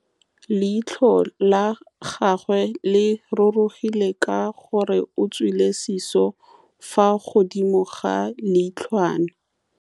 Leitlhô la gagwe le rurugile ka gore o tswile sisô fa godimo ga leitlhwana.